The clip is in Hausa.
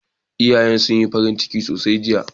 Iyayen sun yi farin ciki sosai jiya.